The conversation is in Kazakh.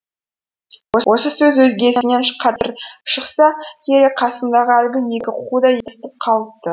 осы сөз өзгесінен қаттырақшықса керек қасымдағы әлгі екі қу да естіп қалыпты